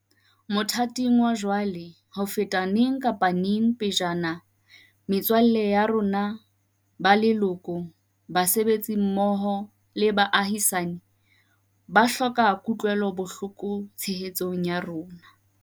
Mothating wa jwale, ho feta neng kapa neng pejana, metswalle ya rona, ba leloko, basebetsi mmoho le baahisane, ba hloka kutlwelo bohloko le tshehetso ya rona.